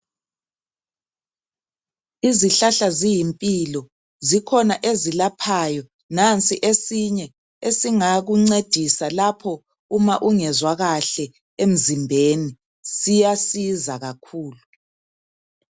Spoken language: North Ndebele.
Izihlahla ziyimpilo, zikhona ezilaphayo. Nansi esinye esingakuncedisa lapho uma ungezwa kahle emzimbeni, siyasiza kakhulu.